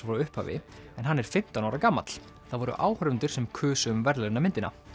frá upphafi en hann er fimmtán ára gamall það voru áhorfendur sem kusu um verðlaunamyndina